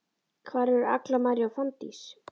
Hvar eru Agla María og Fanndís?